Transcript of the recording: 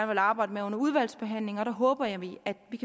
vil arbejde med under udvalgsbehandlingen og der håber jeg at vi kan